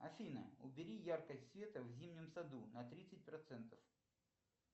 афина убери яркость света в зимнем саду на тридцать процентов